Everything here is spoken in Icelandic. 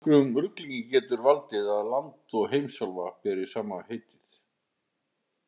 Nokkrum ruglingi getur valdið að land og heimsálfa beri sama heitið.